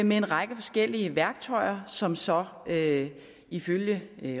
med en række forskellige værktøjer som så ifølge